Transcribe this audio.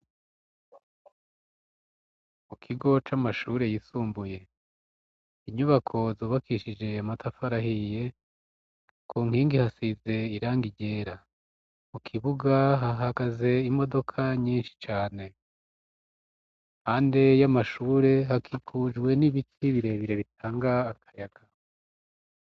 Mu kigo c'amashure yisumbuye, inyubako zubakishije amatafari ahiye, ku nkingi hasize irangi ryera, mu kibuga hahagaze imodoka nyinshi cane. Hanze y'amashure hakikujwe n'ibiti birebire bitanga akayaga.